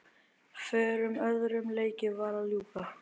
Fjórum öðrum leikjum var að ljúka